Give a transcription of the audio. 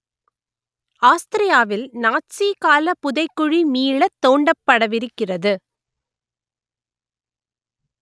ஆஸ்திரியாவில் நாட்சி கால புதைக்குழி மீளத் தோண்டப்படவிருக்கிறது